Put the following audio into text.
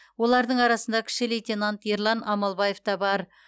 олардың арасында кіші лейтенант ерлан амалбаев та бар